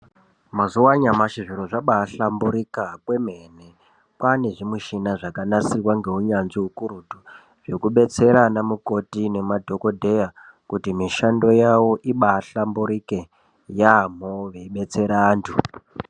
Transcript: Mazuwa anyamashi zviro zvabaahlamburika kwemene. Kwaane zvimushina zvakabaanasirwa ngeunyanzvi ukurutu, zvekudetsera anamukoti nemadhokodheya kuti mishando yavo ibaahlamburike yaamho veidetsera antu.